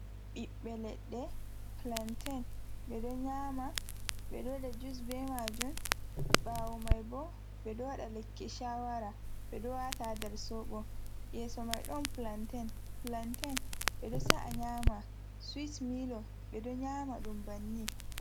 Ɓiɓbe leɗɗe, plantain ɓe ɗo nyama, ɓe ɗowa ɗa juice be majum. ɓawo maibo beɗo wada lekki shawara. ɓe ɗo wata ha nder soɓo. yeso mai don plantain. plantain, ɓe do sa’a nyama sweet milor ɓe do nyama ɗum bannin.